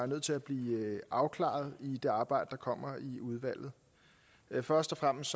nødt til at blive afklaret i det arbejde der kommer i udvalget først og fremmest